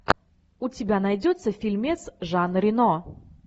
у тебя найдется фильмец жан рено